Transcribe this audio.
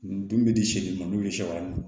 Dun bɛ di se dun ma n'o ye sewaran ye